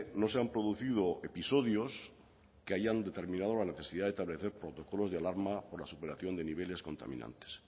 no se han producido episodios que hayan determinado la necesidad de establecer protocolos de alarma por la superación de niveles contaminantes